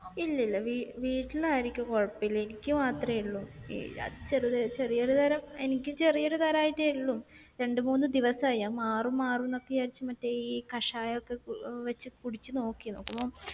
ഇല്ല. ഇല്ല. വീ വീട്ടിൽ ആർക്കും കൊഴപ്പോല. എനിക്ക് മാത്രേ ഒള്ളൂ. ചെറിയൊരു തരം എനിക്ക് ചെറിയൊരു തരമായിട്ടേ ഒള്ളൂ. രണ്ട് മൂന്ന് ദിവസമായി. ഞാൻ മാറും മാറുമെന്നൊക്കെ വിചാരിച്ച് മറ്റേ ഈ കഷായം ഒക്കെ വെച്ച് കുടിച്ച് നോക്കി. നോക്കുമ്പോ